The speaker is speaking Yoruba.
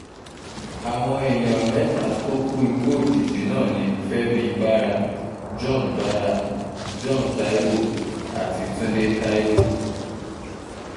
àwọn èèyàn mẹ́ta tó kú ikú òjijì náà ni fẹ́mi bára john bára john taiwo àti túndé taiwo